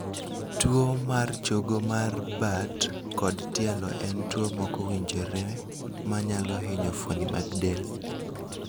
. Tuo mar chogo mar bad kod tielo en tuo mokowinjore manyalo hinyo fuoni mag del